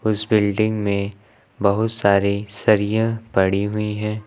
इस बिल्डिंग में बहुत सारे सरिया पड़ी हुई हैं।